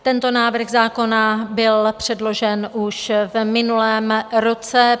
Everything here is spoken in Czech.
Tento návrh zákona byl předložen už v minulém roce.